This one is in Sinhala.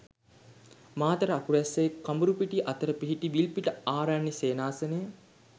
මාතර අකුරැස්සේ කඹුරුපිටිය අතර පිහිටි විල්පිට ආරණ්‍ය සේනාසනය